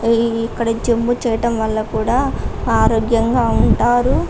ఇక్కడ ఈ చెంబు చేయటం వల్ల కూడా ఆరోగ్యంగా ఉంటారు.